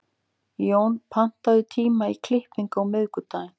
Jón, pantaðu tíma í klippingu á miðvikudaginn.